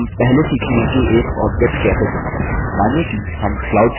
हम पहले सीखेंगे कि एक object कैसे चुनें